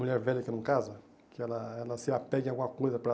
Mulher velha que não casa, que ela ela se apega em alguma coisa para...